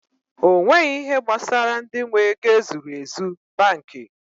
Onweghi ihe gbasara ndị nwe ego e zuru ezu banki